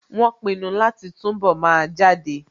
Wọ́n pinu láti túnbọ̀ máa jáde